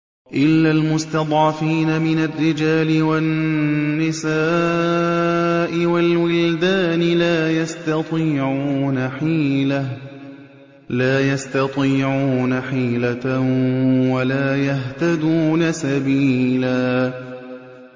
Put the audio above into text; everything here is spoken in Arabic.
إِلَّا الْمُسْتَضْعَفِينَ مِنَ الرِّجَالِ وَالنِّسَاءِ وَالْوِلْدَانِ لَا يَسْتَطِيعُونَ حِيلَةً وَلَا يَهْتَدُونَ سَبِيلًا